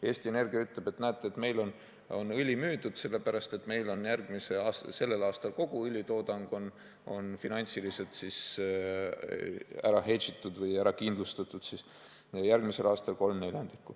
Eesti Energia ütleb, et näete, meil on õli müüdud, sellepärast et meil on sel aastal kogu õlitoodang finantsiliselt kindlustatud ja järgmisel aastal 3/4.